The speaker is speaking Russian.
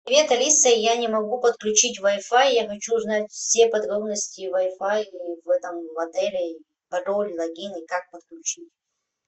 привет алиса я не могу подключить вай фай я хочу узнать все подробности вай фай в этом отеле пароль логин и как подключить